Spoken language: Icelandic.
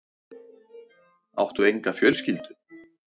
Áttu enga fjölskyldu?